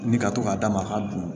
Ni ka to k'a d'a ma a ka dun